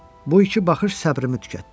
Bu iki baxış səbrimi tükətdi.